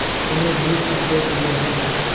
उन्हें बहुत अफसोस हो रहा था